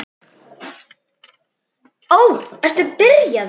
Þær ætla að ganga heim.